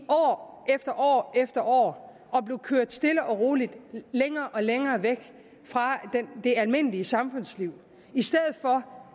år efter år at blive kørt stille og roligt længere og længere væk fra det almindelige samfundsliv i stedet for